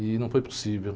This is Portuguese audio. E não foi possível.